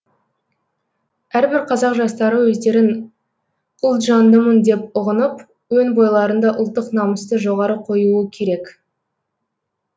әрбір қазақ жастары өздерін ұлтжандымын деп ұғынып өн бойларында ұлттық намысты жоғары қоюы керек